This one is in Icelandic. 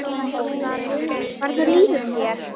Guðný: Hvernig líður þér?